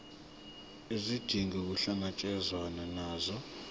izidingo kuhlangatshezwane nazo